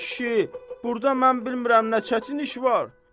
Ay kişi, burda mən bilmirəm nə çətin iş var.